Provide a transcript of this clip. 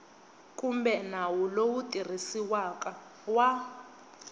kumbe nawu lowu tirhisiwaka wa